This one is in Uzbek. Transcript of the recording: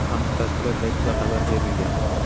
Bu haqda tashkilot saytida xabar berilgan .